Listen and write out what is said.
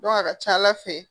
a ka ca ala fɛ